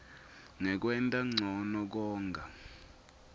ngekwenta ncono konga